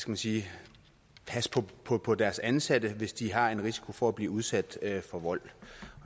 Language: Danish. man sige passe på på deres ansatte hvis de har en risiko for at blive udsat for vold